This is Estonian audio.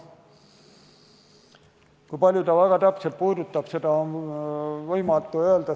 Kui paljusid ta väga täpselt puudutab, seda on võimatu öelda.